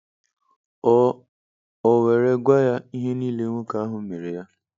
O O were gwa ya ihe niile nwoke ahụ mere ya.